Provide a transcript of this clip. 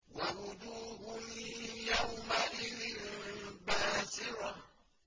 وَوُجُوهٌ يَوْمَئِذٍ بَاسِرَةٌ